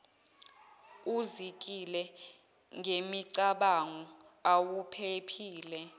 uzikile ngemicabango awuphephile